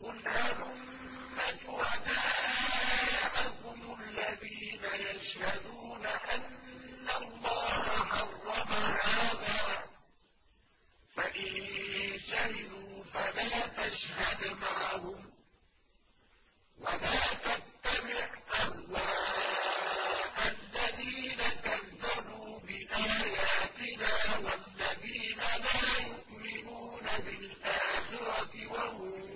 قُلْ هَلُمَّ شُهَدَاءَكُمُ الَّذِينَ يَشْهَدُونَ أَنَّ اللَّهَ حَرَّمَ هَٰذَا ۖ فَإِن شَهِدُوا فَلَا تَشْهَدْ مَعَهُمْ ۚ وَلَا تَتَّبِعْ أَهْوَاءَ الَّذِينَ كَذَّبُوا بِآيَاتِنَا وَالَّذِينَ لَا يُؤْمِنُونَ بِالْآخِرَةِ وَهُم